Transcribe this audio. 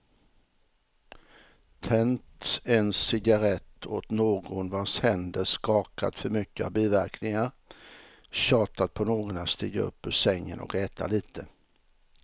Tänt en cigarrett åt någon vars händer skakat för mycket av biverkningar, tjatat på någon att stiga upp ur sängen och äta lite.